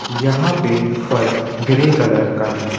यहां पे फर्श ग्रे कलर का है।